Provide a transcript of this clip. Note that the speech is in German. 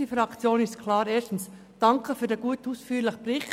Erstens danke ich für den guten und ausführlichen Bericht.